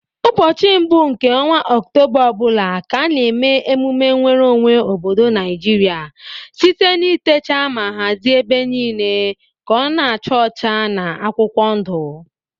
Ụbọchị mbụ nke ọnwa oktoba ọbụla ka a na eme emume nweru onwe obodo Naijiria site na itecha ma hazie ebe niile ka ọ na acha ọcha na akwụkwọ ndu